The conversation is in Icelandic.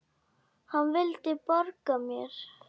Hann vildi borga mér!